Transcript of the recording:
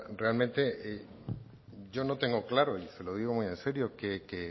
realmente yo no tengo claro y se lo digo muy en serio que